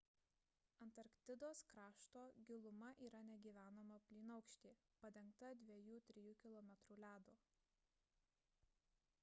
antarktidos krašto giluma yra negyvenama plynaukštė padengta 2–3 km ledo